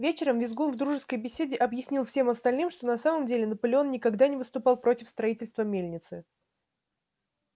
вечером визгун в дружеской беседе объяснил всем остальным что на самом деле наполеон никогда не выступал против строительства мельницы